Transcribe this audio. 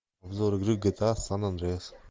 обзор игры гта сан андреас